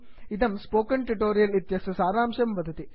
इदं spoken tutorial project इत्यस्य सारांशं वदति